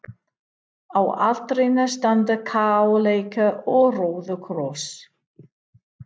Á altarinu standa kaleikur og róðukross.